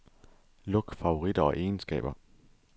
Luk favoritter og egenskaber.